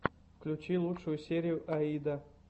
включи лучшую серию аида